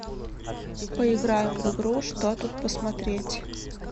поиграем в игру что тут посмотреть